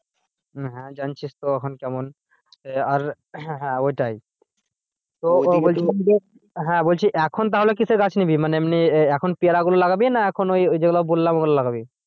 হ্যাঁ জানছিস তো এখন কেমন এ আর ওটাই হ্যাঁ বলছি এখন তাহলে কিসের গাছ নিবি? মানে এমনি এখন পেয়ারা গুলো লাগাবি না এখন ওই যেগুলো বললাম ওগুলো লাগাবি?